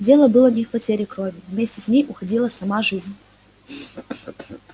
дело было не в потере крови вместе с ней уходила сама жизнь